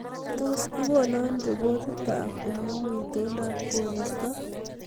Tos igono ripotitab oleu itondab koristo